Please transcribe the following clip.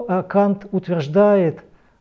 а кант утверждает